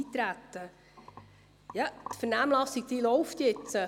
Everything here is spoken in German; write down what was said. Die Vernehmlassung läuft jetzt.